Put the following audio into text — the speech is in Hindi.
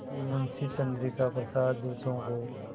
कि मुंशी चंद्रिका प्रसाद जूतों को